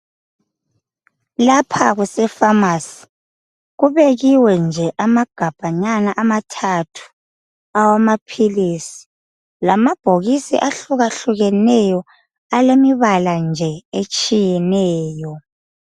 Lapha kusefamasi, kubekiwe nje amagabhanyana amathathu awamaphilisi. Lamabhokisi ahlukahlukeneyo elemibala nje etshiyeneyo.